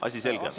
Asi selge.